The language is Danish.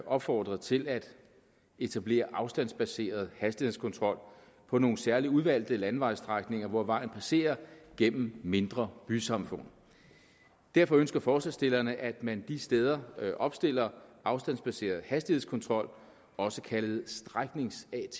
opfordret til at etablere afstandsbaseret hastighedskontrol på nogle særligt udvalgte landevejstrækninger hvor vejen passerer gennem mindre bysamfund derfor ønsker forslagsstillerne at man de steder opstiller afstandsbaseret hastighedskontrol også kaldet stræknings atk